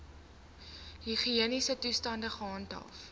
higiëniese toestande gehandhaaf